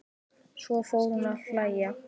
Svo fór hún að hlæja.